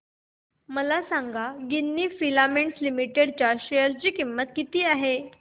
मला सांगा Ginni Filaments Limited च्या शेअर ची किंमत किती आहे